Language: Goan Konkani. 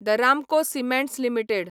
the Ramco cements limited